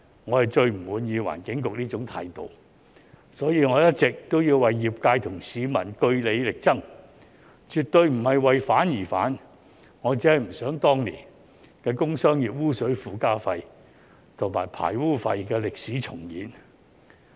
我最不滿意環境局這種態度，所以我一直都要為業界和市民據理力爭，絕對不是為反而反，我只是不想當年的工商業污水附加費和排污費的歷史重演。